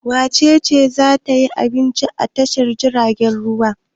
Wace ce za ta ci abinci a tashar jiragen ruwa?